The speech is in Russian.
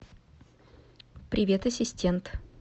привет ассистент